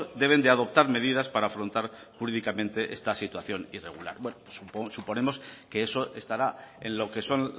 deben de adoptar medidas para afrontar jurídicamente esta situación irregular bueno suponemos que eso estará en lo que son